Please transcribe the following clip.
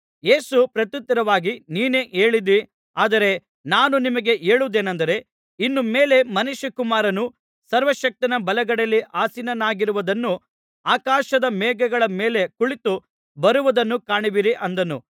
ಯೇಸು ಪ್ರತ್ಯುತ್ತರವಾಗಿ ನೀನೇ ಹೇಳಿದ್ದೀ ಆದರೆ ನಾನು ನಿಮಗೆ ಹೇಳುವುದೇನೆಂದರೆ ಇನ್ನು ಮೇಲೆ ಮನುಷ್ಯಕುಮಾರನು ಸರ್ವಶಕ್ತನ ಬಲಗಡೆಯಲ್ಲಿ ಆಸೀನನಾಗಿರುವುದನ್ನೂ ಆಕಾಶದ ಮೇಘಗಳ ಮೇಲೆ ಕುಳಿತು ಬರುವುದನ್ನೂ ಕಾಣುವಿರಿ ಅಂದನು